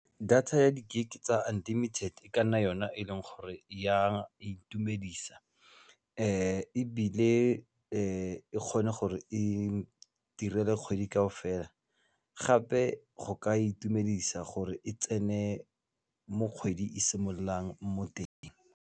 Data ya di-GIG tsa unlimited e ka nna yona e leng gore ya itumedisa ebile e kgone gore e kgwedi kaofela gape go ka itumedisa gore e tsene mo kgwedi e simololang mo teng.